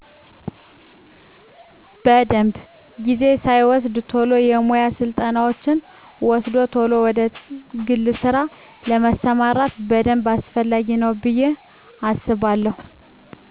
በደንብ። ጊዜ ሳይወስድ ቶሎ የሙያ ስልጠናወችን ወስዶ ቶሎ ወደ ግል ስራ ለመስማራት በደንብ አስፈላጊ ነው ብየ አስባለው።